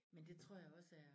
Men det tror jeg også er